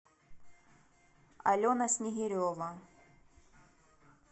алена снегирева